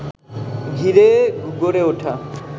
ঘিরে গড়ে ওঠা